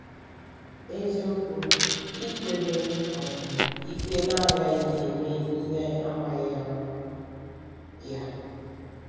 N’eziokwu, ị kwere um ikpe na agaghị eme ihe amaghị ama ya.